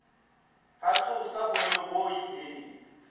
tsa tsosa boemo bo ileng